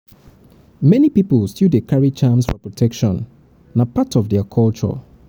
many pipo still dey carry charms for protection; na part of dia culture.